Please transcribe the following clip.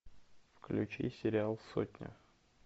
включи сериал сотня